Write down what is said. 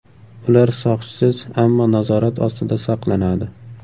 Ular soqchisiz, ammo nazorat ostida saqlanadi.